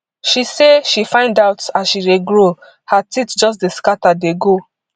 she say she find out as she dey grow her teeth just dey scata dey go